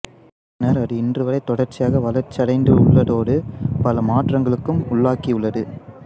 பின்னர் அது இன்று வரை தொடர்ச்சியாக வளர்ச்சியடைந்துள்ளதோடு பல மாற்றங்களுக்கும் உள்ளாகியுள்ளது